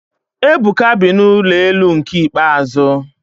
Ebuka bi na ụlọ elu nke ikpeazụ